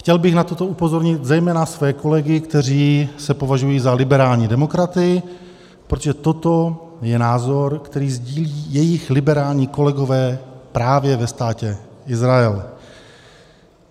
Chtěl bych na toto upozornit zejména své kolegy, kteří se považují za liberální demokraty, protože toto je názor, který sdílí jejich liberální kolegové právě ve Státě Izrael.